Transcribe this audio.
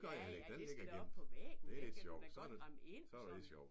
Ja ja det skal da op på væggen! Det kan du da godt ramme ind og sådan